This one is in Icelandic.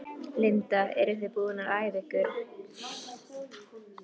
Linda: Eruð þið búnar að æfa ykkur?